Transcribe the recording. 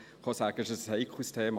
Es ist ein heikles Thema.